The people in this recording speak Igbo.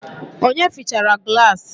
Onye fịchara gilasi?